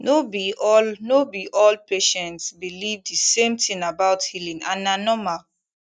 no be all no be all patients believe the same thing about healing and na normal